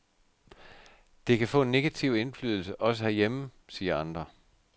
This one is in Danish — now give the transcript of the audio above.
Det kan få en negativ indflydelse også herhjemme, siger andre.